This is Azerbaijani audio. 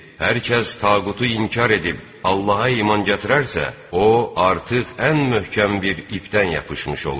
Hər kəs tağutu inkar edib, Allaha iman gətirərsə, o, artıq ən möhkəm bir ipdən yapışmış olur.